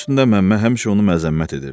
Bunun üstündə Məmmə həmişə onu məzəmmət edirdi.